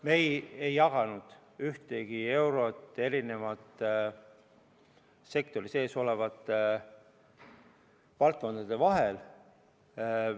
Me ei jaganud ühtegi eurot sektori sees olevate valdkondade vahel.